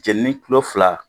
Jeninen kilo fila